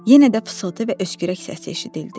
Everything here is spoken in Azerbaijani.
Yenə də fısıltı və öskürək səsi eşidildi.